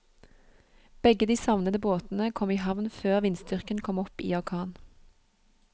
Begge de savnede båtene kom i havn før vindstyrken kom opp i orkan.